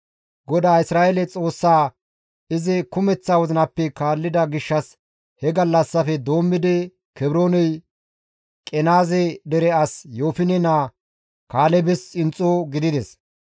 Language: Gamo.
GODAA Isra7eele Xoossaa izi kumeththa wozinappe kaallida gishshas he gallassafe doommidi Kebrooney Qenaaze dere as Yoofine naa Kaalebes xinxxo gidides.